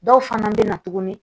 Dɔw fana bɛ na tuguni